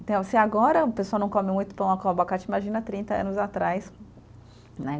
Então, se agora o pessoal não come muito pão com abacate, imagina a trinta anos atrás, né?